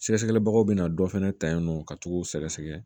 Sɛgɛsɛgɛli bagaw bɛna dɔ fana ta yen nɔ ka t'o sɛgɛsɛgɛ